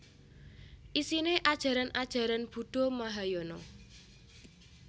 Isine ajaran ajaran Buddha Mahayana